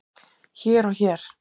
hér og hér